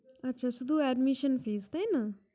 আচ্ছা! শুধু Admission Fees, তাই না?